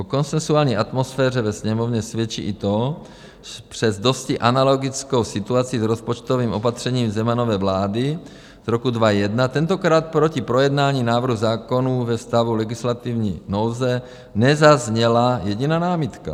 O konsenzuální atmosféře ve Sněmovně svědčí i to, přes dosti analogickou situaci s rozpočtovým opatřením Zemanovy vlády z roku 2001, tentokrát proti projednání návrhu zákonů ve stavu legislativní nouze nezazněla jediná námitka.